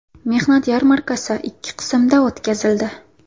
Mehnat yarmarkasi ikki qismda o‘tkazildi.